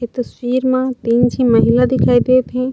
ए तस्वीर मा दू झी महिला दिखाई देत हे।